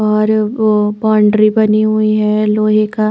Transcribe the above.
और वो बाउंड्री बनी हुई है लोहे का--